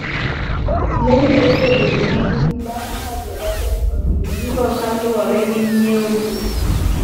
Lendo osebedo matin bang' ka jogaset odiyo ndiko kalwore gi ng'iewo modok chien.